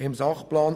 Im Sachplan